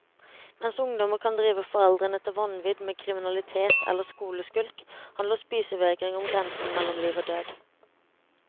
Mens ungdommer kan drive foreldrene til vanvidd med kriminalitet eller skoleskulk, handler spisevegring om grensen mellom liv og død.